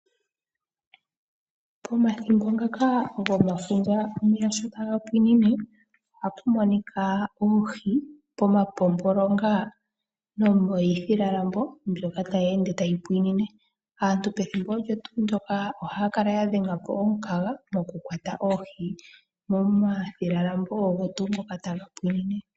Pomathimbo ngaka gomafundja omeya sho taga pwine, ohapu monika oohi pomapompolonga nomiithilalambo mbyoka tayi ende tayi pwine. Aantu pethimbo olyo tuu ndyoka ohaya kala ya dhenga po omukaga mokukwata oohi momathilalambo ogo tuu ngoka taga pwine.